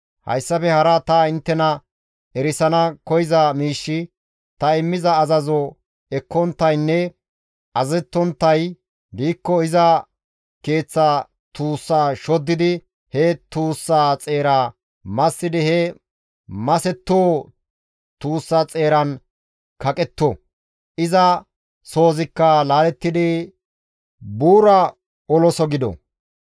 Hayssafe hara ta inttena erisana koyza miishshi ta immiza azazo ekkonttaynne azazettonttay diikko iza keeththa tuussa shoddidi he tuussaa xeera massidi he masettoo tuussa xeeran kaqetto; iza soozikka laalettidi buura oloso gido.